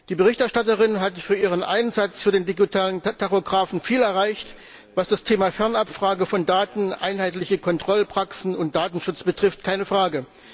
Die Berichterstatterin hat durch ihren Einsatz für den digitalen Tachografen viel erreicht, was das Thema Fernabfrage von Daten, einheitliche Kontrollpraxen und Datenschutz betrifft keine Frage!